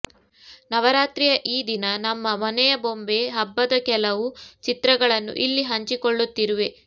ನವರಾತ್ರಿಯ ಈ ದಿನ ನಮ್ಮ ಮನೆಯ ಬೊಂಬೆ ಹಬ್ಬದ ಕೆಲವು ಚಿತ್ರಗಳನ್ನೂ ಇಲ್ಲಿ ಹಂಚಿಕೊಳ್ಳುತ್ತಿರುವೆ